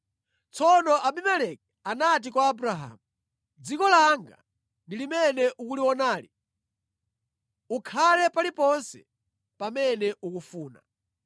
Tsono Abimeleki anati kwa Abrahamu, “Dziko langa ndi limene ukulionali; ukhale paliponse pamene ufuna.”